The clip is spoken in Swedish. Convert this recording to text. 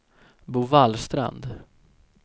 Bovallstrand